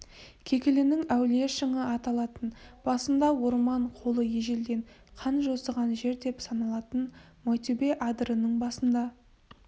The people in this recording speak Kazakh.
кекілінің әулие шыңы аталатын басында орман қолы ежелден қан жосыған жер деп саналатын майтөбе адырының басында